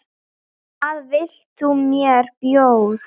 Hvað vilt þú með bjór?